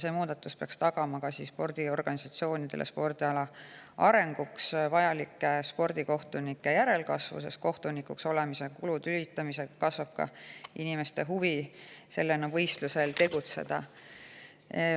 See muudatus peaks tagama spordiorganisatsioonidele spordiala arenguks vajalike spordikohtunike järelkasvu, sest kohtunikuks olemise kulude hüvitamise korral kasvab ka inimeste huvi sellena võistlustel tegutseda.